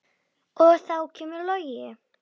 Og þá kemur Logi.